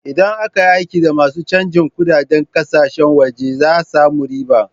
Idan aka yi aiki da masu canjin kunɗaden ƙasashen waje za a samu riba.